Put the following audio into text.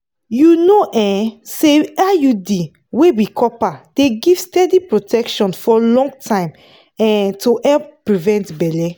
you know um say iud wey be copper dey give steady protection for long time um to help prevent belle.